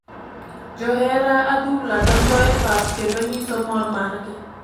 Johera adhula donjo e pap kendo nyiso mor mar gi .